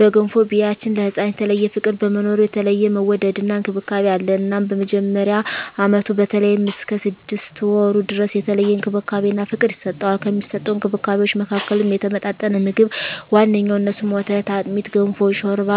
በገንፎ ቢያችን ለህፃናት የተለየ ፍቅር በመኖሩ የተለየ መወደድና እንክብካቤ አለ እናም በመጀመሪያ አመቱ በተለይም እስከ ስድስት ወሩ ድረስ የተለየ እንክብካቤና ፍቅር ይሰጠዋል። ከሚሰጠዉ እንክብካቤወች መካከልም የተመጣጠነ ምግብ ዋነኛዉ እነሱም፦ ወተት፣ አጥሚት፣ ገንፎ፣ ሾርባ